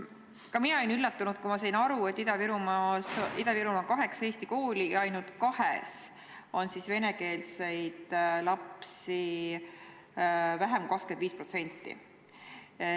Ka mina olin üllatunud, kui sain aru, et Ida-Virumaal on kaheksa eesti kooli ja ainult kahes on siis venekeelseid lapsi vähem kui 25%.